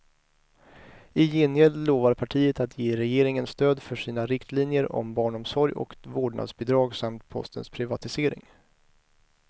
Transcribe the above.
I gengäld lovar partiet att ge regeringen stöd för sina riktlinjer om barnomsorg och vårdnadsbidrag samt postens privatisering.